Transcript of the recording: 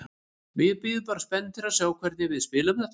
Við bíðum bara spenntir að sjá hvernig við spilum þetta.